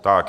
Tak.